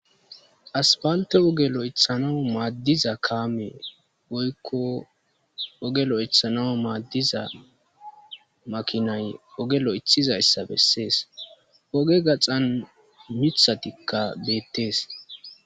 Aspalththe ogge lo'thanawu madizza kame woykko ogge lo'thanawu madiza makinay ogge loo'thizayssa besses. Ogge gaxan miththathika bethess.